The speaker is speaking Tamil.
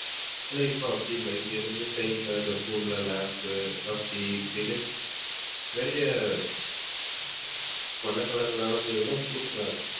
ஆனா இப்ப அப்படி இல்லை. இங்க இருந்து side ல அந்த தூண்ல lamp அப்படி இப்படின்னு நிறைய வண்ண color ல